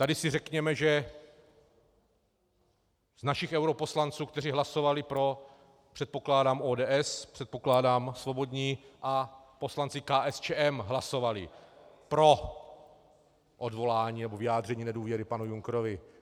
Tady si řekněme, že z našich europoslanců, kteří hlasovali pro, předpokládám ODS, předpokládám Svobodní a poslanci KSČM hlasovali pro odvolání nebo vyjádření nedůvěry panu Junckerovi.